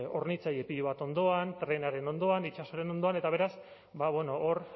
hornitzaile pilo bat ondoan trenaren ondoan itsasoaren ondoan eta beraz hor